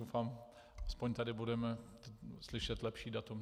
Doufám, že tady budeme slyšet lepší datum.